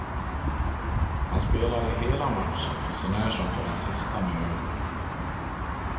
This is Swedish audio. Han spelade hela matchen, sånär som på den sista minuten.